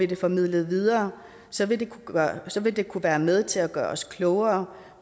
det formidlet videre så vil så vil det kunne være med til at gøre os klogere